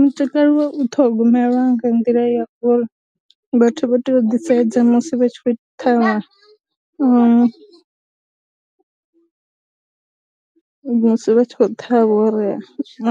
Mutakalo wa u ṱhogomelwa nga nḓila ya uri vhathu vha tea u ḓisedza musi vha tshi khou ṱhavha na musi vha tshi khou ṱhavha uri